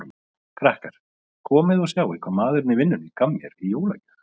Krakkar, komiði og sjáið hvað maðurinn í vinnunni gaf mér í jólagjöf